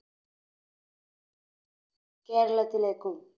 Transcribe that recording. കേരളത്തിലേക്കും